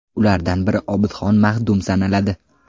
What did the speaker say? Ulardan biri Obidxon Mahdum sanaladi.